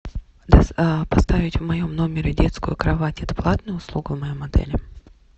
поставить в моем номере детскую кровать это платная услуга в моем отеле